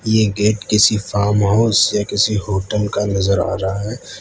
यह गेट किसी farm house या किसी होटल का नजर आ रहा है।